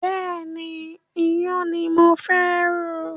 Bẹ́ẹ̀ni, iyán ni mo fẹ́ rò.